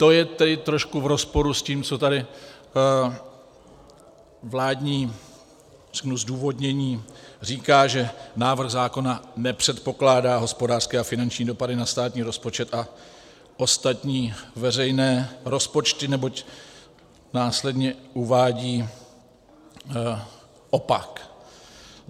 - To je tedy trošku v rozporu s tím, co tady vládní zdůvodnění říká, že návrh zákona nepředpokládá hospodářské a finanční dopady na státní rozpočet a ostatní veřejné rozpočty, neboť následně uvádí opak.